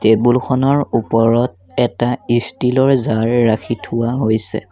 টেবুলখনৰ ওপৰত এটা ষ্টীল ৰ জাৰ ৰাখি থোৱা হৈছে।